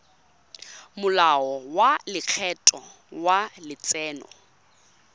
molao wa lekgetho wa letseno